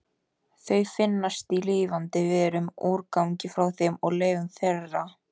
Þau finnast í lifandi verum, úrgangi frá þeim og leifum þeirra.